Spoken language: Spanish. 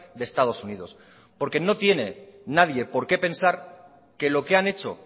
de estados unidos porque no tiene nadie por qué pensar que lo que han hecho